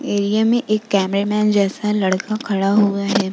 Area में एक camera man जैसा लड़का खड़ा हुआ है।